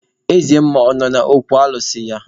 Eze mmụọ ọ nọ n'okwu alụsị ya?